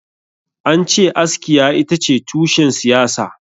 Ance askiya itace tushen siyasa